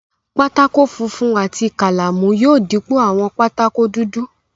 Pátákó funfun àti kálámù yóò dípò àwọn pátákó dudu.